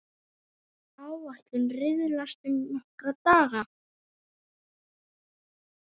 Áætlun riðlast um nokkra daga.